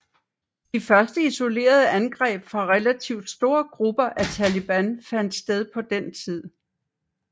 De første isolerede angreb fra relativt store grupper af taliban fandt sted på den tid